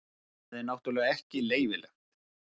Það er náttúrulega ekki leyfilegt.